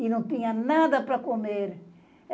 e não tinha nada para comer.